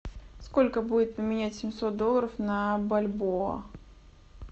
сколько будет поменять семьсот долларов на бальбоа